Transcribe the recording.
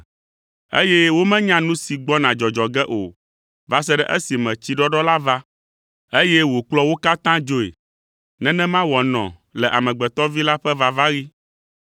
eye womenya nu si gbɔna dzɔdzɔ ge o va se ɖe esime tsiɖɔɖɔ la va, eye wòkplɔ wo katã dzoe. Nenema wòanɔ le Amegbetɔ Vi la ƒe vavaɣi.